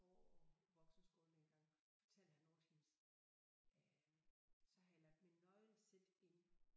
På voksenskolen dengang fortalte han altid øh så havde jeg lagt mit nøglesæt ind